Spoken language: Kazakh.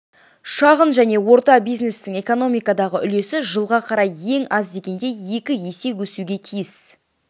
шағын және орта бизнестің экономикадағы үлесі жылға қарай ең аз дегенде екі есе өсуге тиіс